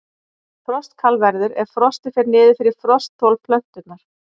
Frostkal verður ef frostið fer niður fyrir frostþol plöntunnar.